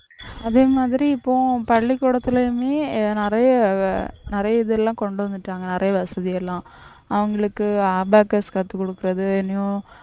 அதே மாதிரி இப்போ பள்ளிக்கூடத்திலேயுமே நிறைய இதெல்லாம் கொண்டு வந்துட்டாங்க நிறைய வசதி எல்லாம் அவங்களுக்கு abacus கத்துக் கொடுக்கிறது இன்னும்